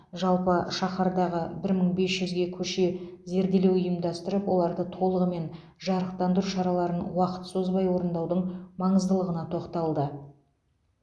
жалпы шаһардағы бір мың бес жүзге көше зерделеу ұйымдастырып оларды толығымен жарықтандыру шараларын уақыт созбай орындаудың маңыздылығына тоқталды